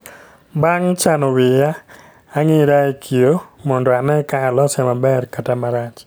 Bang' chano wiya, ang'ira e kioo mondo ane ka alose maber kata marach